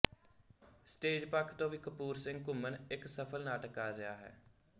stage ਪੱਖ ਤੋਂ ਵੀ ਕਪੂਰ ਸਿੰਘ ਘੁੰਮਣ ਇੱਕ ਸਫ਼ਲ ਨਾਟਕਕਾਰ ਰਿਹਾ ਹੈ